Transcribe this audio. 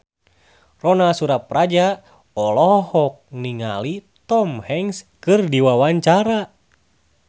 Ronal Surapradja olohok ningali Tom Hanks keur diwawancara